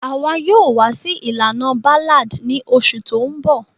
Àwa yoo wa si ilana Ballad ni osù to nbò